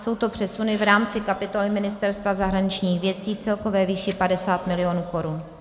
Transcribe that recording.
Jsou to přesuny v rámci kapitoly Ministerstva zahraničních věcí v celkové výši 50 mil. korun.